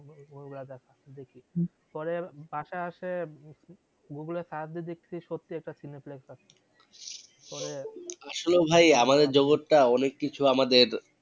ওগুলা দেখি পরে বাসায় আসে google এ search দিয়ে দেখসি সত্যি একটা পরে আসলে ভাই আমাদের জগৎ টা অনেক কিছু আমাদের